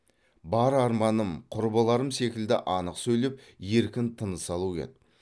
бар арманым құрбыларым секілді анық сөйлеп еркін тыныс алу еді